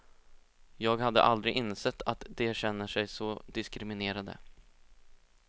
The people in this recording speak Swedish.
Jag hade aldrig insett att de känner sig så diskriminerade.